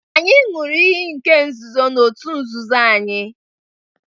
Anyị ṅụrụ iyi nke nzuzo na òtù nzuzo anyị